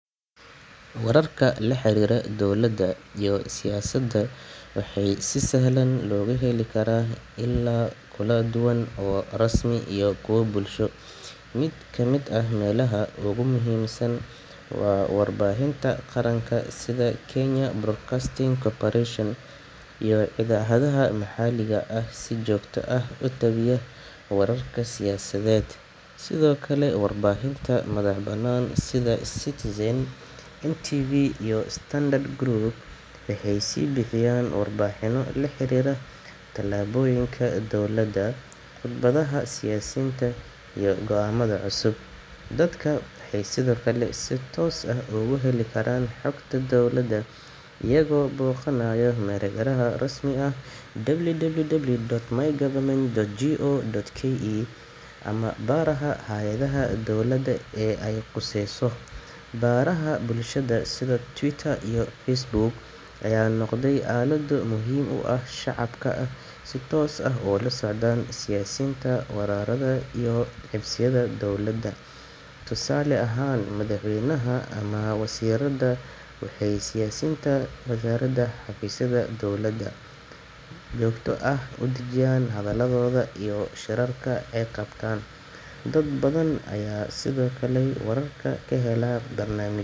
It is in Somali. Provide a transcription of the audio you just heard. Wararka la xiriira dowladda iyo siyaasadda waxaa si sahlan looga heli karaa ilo kala duwan oo rasmi ah iyo kuwo bulsho. Mid ka mid ah meelaha ugu muhiimsan waa warbaahinta qaranka sida Kenya Broadcasting Corporation (KBC) iyo idaacadaha maxalliga ah ee si joogto ah u tabiya wararka siyaasadeed. Sidoo kale, warbaahinta madaxa-bannaan sida Citizen TV, NTV, iyo Standard Group waxay bixiyaan warbixinno la xiriira tallaabooyinka dowladda, khudbadaha siyaasiyiinta, iyo go’aamada cusub. Dadka waxay sidoo kale si toos ah uga heli karaan xogta dowladda iyagoo booqanaya mareegaha rasmiga ah sida www.mygov.go.ke ama baraha hay'adaha dowladda ee ay khuseyso. Baraha bulshada sida Twitter iyo Facebook ayaa noqday aalado muhiim u ah in shacabka ay si toos ah ula socdaan siyaasiyiinta, wasaaradaha, iyo xafiisyada dowladda. Tusaale ahaan, madaxweynaha ama wasiirrada waxay si joogto ah u dhajiyaan hadalladooda iyo shirarka ay qabtaan. Dad badan ayaa sidoo kale wararka ka hela barnaam.